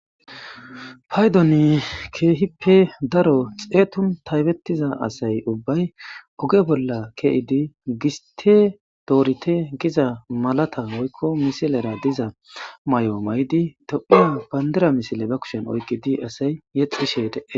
Qaydoni keehippe daro xeetun taybettiza asay ubbay oge bolla ke7idi giste doorite giza malata moykko misilera diza may7o may7di tephua bayndira misile ba kushen oykkidi asay yexishedee